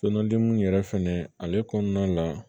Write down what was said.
So kɔnɔdenmuw yɛrɛ fɛnɛ ale kɔnɔna la